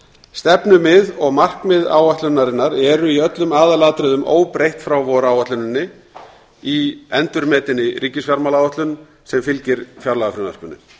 stefnumið og markmið áætlunarinnar eru í öllum aðalatriðum óbreytt frá voráætluninni í endurmetinni ríkisfjármálaáætlun sem fylgir fjárlagafrumvarpinu